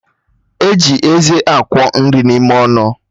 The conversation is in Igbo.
E ji eze akwọ nri n'ime ọnụ